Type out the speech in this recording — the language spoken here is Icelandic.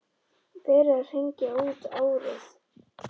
Verið að hringja út árið.